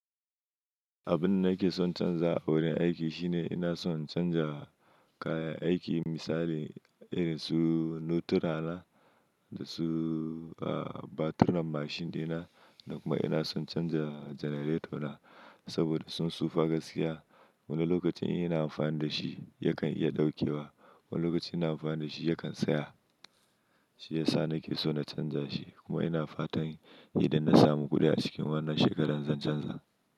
Abin da nake son canzawa a wurin aiki shi ne ina son canja kayan aiki misali irin su noturana da su a batirin mashin ɗina da kuma ina son canza generator na saboda sun tsufa gaskiya. Wani lokacin in ina amfani da shi ya kan iya ɗaukewa, wani lokacin ina amfani da shi ya kan tsaya. Shi yasa nake so na canja shi kuma ina fatan idan na samu kuɗi a cikin wannan shekarar zan canza.